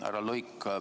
Härra Luik!